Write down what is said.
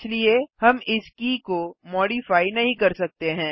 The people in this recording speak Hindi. इसलिए हम इस की को मॉडिफाइ नहीं कर सकते हैं